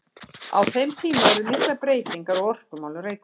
Á þeim tíma urðu miklar breytingar á orkumálum Reykvíkinga.